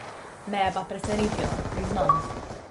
Me je pa presenetila, priznam.